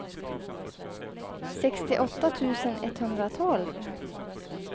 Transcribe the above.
sextioåtta tusen etthundratolv